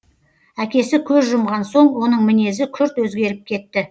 әкесі көз жұмған соң оның мінезі күрт өзгеріп кетті